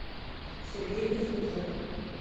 сергей кузнецов